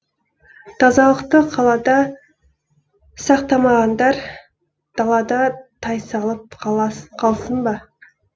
тазалықты қалада сақтамағандар далада тайсалып қалсын ба